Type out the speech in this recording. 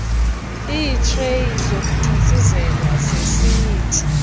iitreyi zokuthontsizelwa zesinyithi